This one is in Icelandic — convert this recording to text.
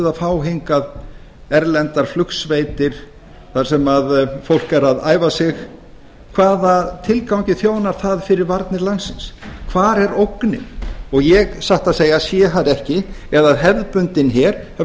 eða fá hingað erlendar flugsveitir þar sem fólk er að æfa sig hvaða tilgangi þjónar það fyrir varnir landsins hvar er ógnin ég satt að segja sé það ekki eða hefðbundinn her hafi